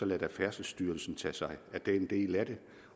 lade færdselsstyrelsen tage sig af den del af det